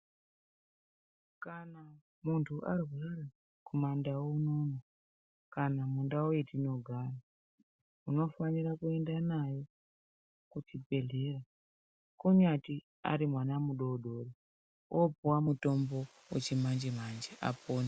Kana muntu arwara kumandau unono kana mundau etinogara unofanira kuenda nayo kuchibhedhlera. Kunyati ari mwana mudodori vopuva mutombo vechimanje-manje apone.